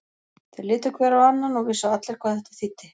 Þeir litu hver á annan og vissu allir hvað þetta þýddi.